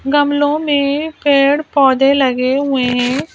गमलों में पेड़ पौधे लगे हुए हैं।